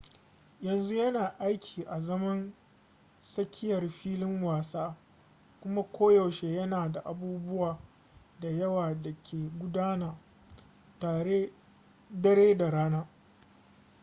yanzu yana aiki azaman tsakiyar filin wasa kuma koyaushe yana da abubuwa da yawa da ke gudana dare da rana